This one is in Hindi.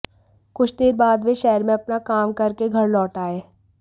कुछ देर बाद वे शहर में अपना काम करके घर लौट आए